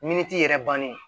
Miniti yɛrɛ bannen